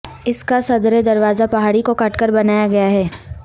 اس کاصدر دروازہ پہاڑی کو کاٹ کر بنایا گیاہے